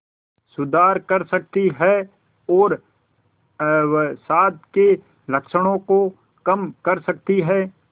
सुधार कर सकती है और अवसाद के लक्षणों को कम कर सकती है